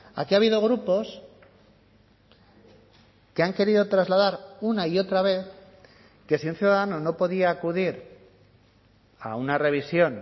aquí ha habido grupos que han querido trasladar una y otra vez que si un ciudadano no podía acudir a una revisión